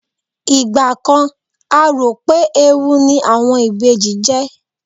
igba kan a t'ọpẹ ẹwù ni àwọn Ìbejì je